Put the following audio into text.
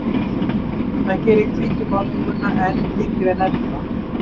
það gerir hvítu málninguna enn þyngri en ella